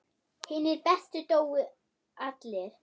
Hinir bestu dóu allir.